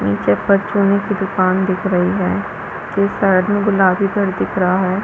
ये छत पर चुने की दुकान दिख रही है साइड में गुलाबी घर दिख रहा है।